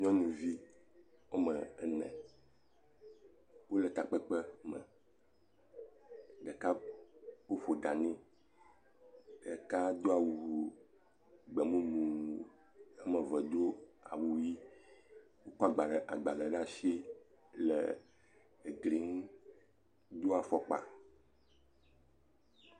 Nyɔnuvi woame ene, wole takpekpe, ɖeka woƒo ɖa nɛ, ɖeka do awu.. gbe mumu, woame eve do awu ʋɛ̃, wokɔ agbalẽ, agbalẽ ɖe asi le eglinyi, wodo afɔkpa.